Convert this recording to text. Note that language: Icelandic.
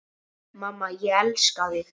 Mamma, ég elska þig.